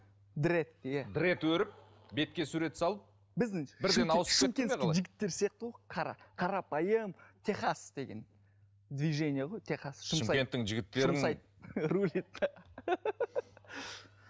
дрэд иә дрэд өріп бетке сурет салып шымкентский жігіттер сияқты ғой қара қарапайым техас деген движение ғой техас шымкенттің жігіттерін